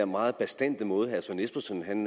meget bastante måde